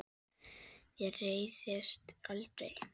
Ég reiðist aldrei.